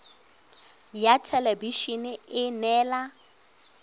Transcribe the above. ya thelebi ene e neela